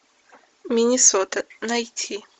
миннесота найти